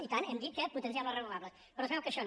i tant hem dit que potenciem les renovables però es veu que això no